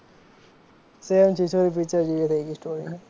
same Chhichhore picture જેવી થઈ ગઈ story